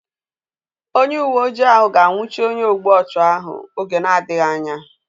Onye uwe ojii ahu ga anwụchi onye ogbu ọchụ ahu oge na-adịghị anya